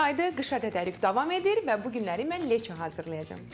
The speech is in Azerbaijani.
Yaydır, qışa tədarük davam edir və bu günləri mən leço hazırlayacam.